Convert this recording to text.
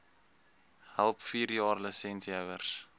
help vierjaar lisensiehouers